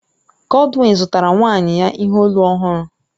Godwin zụtara nwaanyị ya ihe olu ọhụrụ